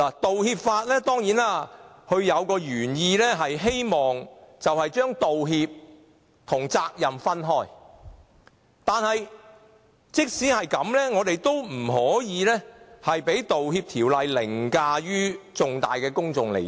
當然，道歉法的原意是希望將道歉和責任分開，但即使如此，我們也不可以讓《條例草案》凌駕重大的公眾利益。